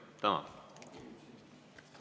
Tänan!